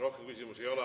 Rohkem küsimusi ei ole.